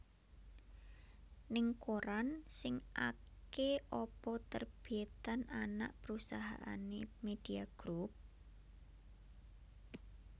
Ning koran sing ake apa terbitan anak perusahaane Media Group?